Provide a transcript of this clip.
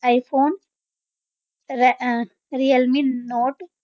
iPhone ਰੈ~ uh Realme note